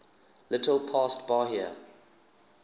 little past bahia